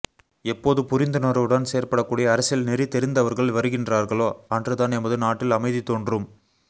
எப்போது புரிந்துணர்வுடன் செயற்படக்கூடிய அரசியல்நெறிதெரிந்தவர்கள் வருகின்றார்களோ அன்றுதான் எமது நாட்டில் அமைதி தோன்றும்